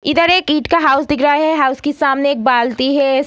इधर एक ईंट का हाउस दिख रहा है हाउस की सामने एक बाल्टी है।